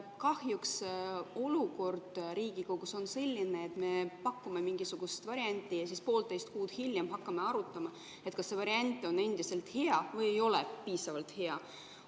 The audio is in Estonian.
Kahjuks olukord Riigikogus on selline, et me pakume mingisugust varianti ja siis poolteist kuud hiljem hakkame arutama, kas see variant on endiselt hea või ei ole piisavalt hea.